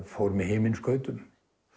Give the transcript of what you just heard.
fór með himinskautum